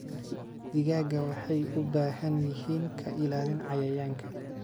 Digaagga waxay u baahan yihiin ka ilaalin cayayaanka.